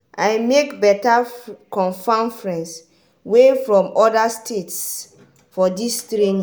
i make beta confam friends wey from oda states for dis training.